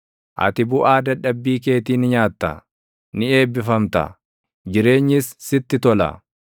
Ati buʼaa dadhabbii keetii ni nyaatta; ni eebbifamta; jireenyis sitti tola.